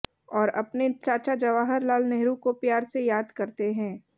और अपने चाचा जवाहर लाल नेहरू को प्यार से याद करते हैं